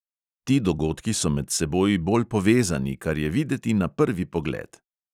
Ti dogodki so med seboj bolj povezani, kar je videti na prvi pogled.